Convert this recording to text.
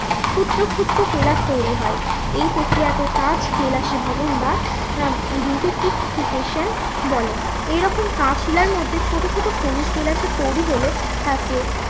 ক্ষুদ্র ক্ষুদ্র কেলাস তৈরী হয় এই প্রক্রিয়াকে কাঁচ কেলাসি ভ্রমণ বা আহ বলে। এরকম কাঁচ শিলার মধ্যে ছোটো ছোটো খনিজ কেলাসের তৈরী হলে তাকে